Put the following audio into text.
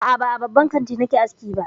A'a, ba a babban kanti nake aski ba.